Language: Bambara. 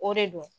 O de don